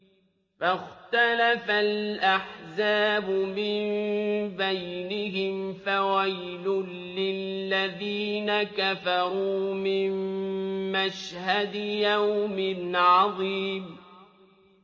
فَاخْتَلَفَ الْأَحْزَابُ مِن بَيْنِهِمْ ۖ فَوَيْلٌ لِّلَّذِينَ كَفَرُوا مِن مَّشْهَدِ يَوْمٍ عَظِيمٍ